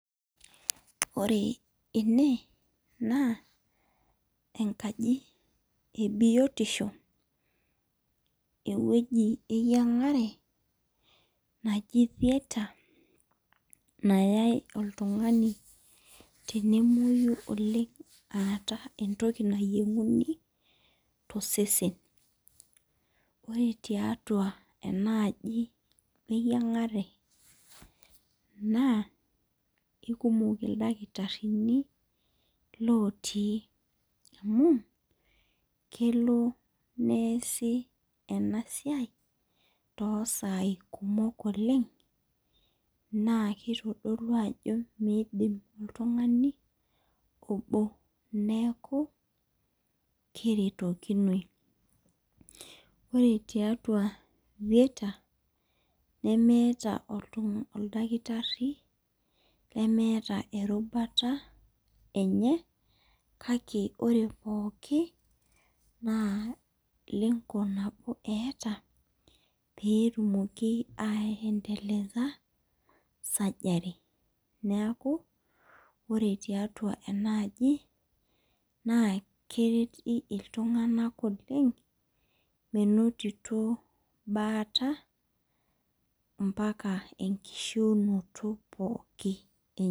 Ore ene na enkani ebiotisho ewueji eyiangare naji theatre nayau oltungani tenemwoyu oleng etae entoki nayieuni tosesen ore tiatua enaaji eyiangare na ekumok ildakitarini otii amu kelo neasi enasia tosai kumok oleng na kifadolu ajo midim oltungani neaku keretokinoi, ore tiatua theater nemeeta oldakitari lemeeta erubata enye kake ore pooki na lengo pooki eeta petumoki surgery neaku ore tiatua enaaji na kereti ltunganak oleng menotito baata mbbaka enkishiunye enye.